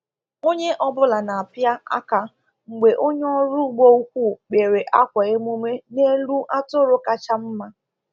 Onye ọbụla na-apịa aka mgbe onye ọrụ ugbo ukwu kpịrị akwa emume n’elu atụrụ kacha mma.